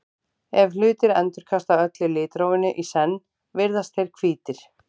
ef hlutir endurkasta öllu litrófinu í senn virðast þeir hvítir